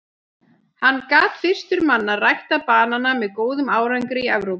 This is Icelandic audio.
Hann gat fyrstur manna ræktað banana með góðum árangri í Evrópu.